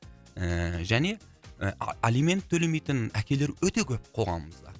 ііі және ы алимент төлемейтін әкелер өте көп қоғамымызда